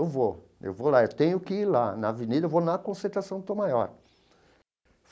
Eu vou, eu vou lá, eu tenho que ir lá, na Avenida, eu vou na concentração, do Tom Maior.